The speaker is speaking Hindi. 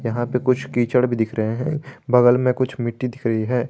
यहां पे कुछ कीचड़ भी दिख रहे है बगल में कुछ मिट्टी दिख रही है।